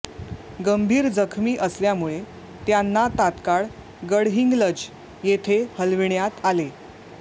गंभीर जखमी असल्यामुळे त्यांना तात्काळ गडहिंग्लज येथे हलविण्यात आले